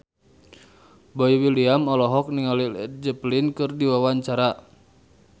Boy William olohok ningali Led Zeppelin keur diwawancara